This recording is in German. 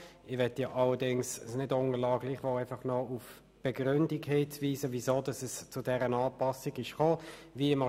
Doch möchte ich es nicht unterlassen, noch auf die Begründung hinzuweisen, weshalb es zu dieser Anpassung gekommen ist.